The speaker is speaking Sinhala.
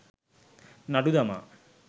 නඩු දමා